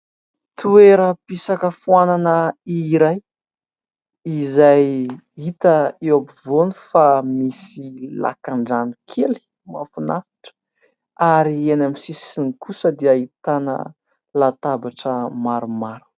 Toeram-pisakafoanana iray izay hita eo ampovoany fa misy lakan-drano kely mahafinaritra ary eny amin'ny sisiny kosa dia ahitana latabatra maromaro.